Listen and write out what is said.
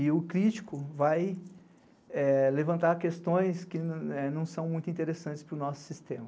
E o crítico vai levantar questões que não são muito interessantes para o nosso sistema.